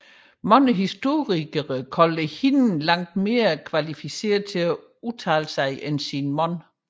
Mange historikere kaldte hende langt bedre kvalificeret til at udtale sig end sin mand